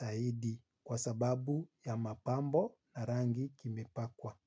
zaidi kwa sababu ya mapambo na rangi kimepakwa.